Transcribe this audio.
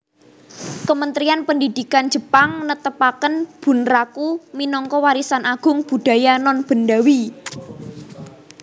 Kementerian Pendidikan Jepang netepaken bunraku minangka Warisan Agung Budaya Nonbendawi